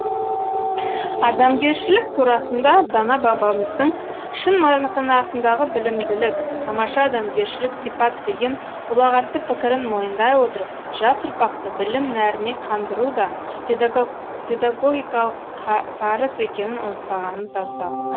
адамгершілік турасында дана бабамыздың шын мағынасындағы білімділік тамаша адамгершілік сипат деген ұлағатты пікірін мойындай отырып жас ұрпақты білім нәріне қандыру да педагогикалық парыз екенін ұмытпағанымыз абзал